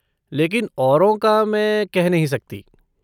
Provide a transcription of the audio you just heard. लेकिन औरों का मैं कह नहीं सकती।